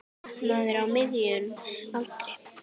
Maður á miðjum aldri.